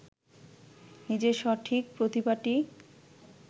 নিজের সঠিক প্রতিভাটি